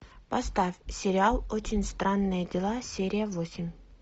поставь сериал очень странные дела серия восемь